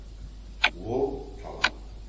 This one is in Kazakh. ол талап